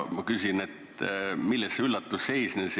Milles see üllatus seisnes?